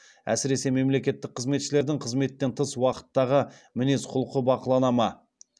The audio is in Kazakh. әсіресе мемлекеттік қызметшілердің қызметтен тыс уақыттағы мінез құлқы бақылана ма